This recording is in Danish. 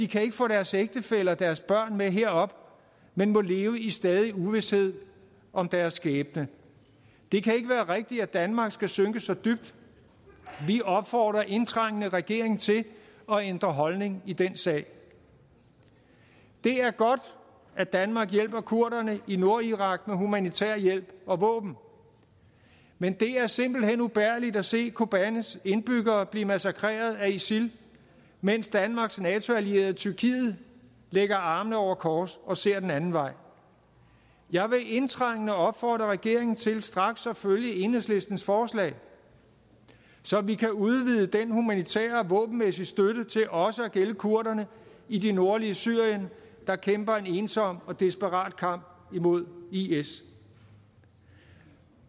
kan få deres ægtefæller og deres børn med herop men må leve i stadig uvished om deres skæbne det kan ikke være rigtigt at danmark skal synke så dybt vi opfordrer indtrængende regeringen til at ændre holdning i den sag det er godt at danmark hjælper kurderne i nordirak med humanitær hjælp og våben men det er simpelt hen ubærligt at se kobanis indbyggere blive massakreret af isil mens danmarks nato allierede tyrkiet lægger armene over kors og ser den anden vej jeg vil indtrængende opfordre regeringen til straks at følge enhedslistens forslag så vi kan udvide den humanitære og våbenmæssige støtte til også at gælde kurderne i det nordlige syrien der kæmper en ensom og desperat kamp imod is